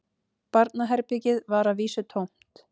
Barnaherbergið var að vísu tómt